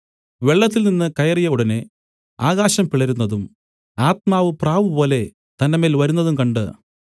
വെള്ളത്തിൽ നിന്നു കയറിയ ഉടനെ ആകാശം പിളരുന്നതും ആത്മാവ് പ്രാവുപോലെ തന്റെമേൽ വരുന്നതും കണ്ട്